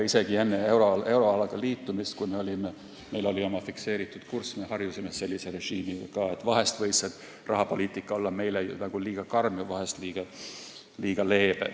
Isegi enne euroalaga liitumist, kui meil oli oma fikseeritud kurss, me harjusime ka sellise režiimiga, et vahel võis rahapoliitika olla meile liiga karm ja vahel liiga leebe.